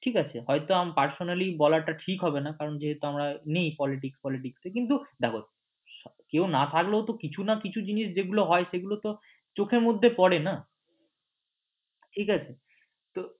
ঠিক আছে হয়ত আমার personally বলাটা ঠিক হবেনা কারণ যেহেতু আমার নেই politics folitics কিছু দেখো কেউ না থাকলেও তো কিছু না কিছু হয় সেগুলো তো চোখের মধ্যে পড়ে ঠিক আছে তো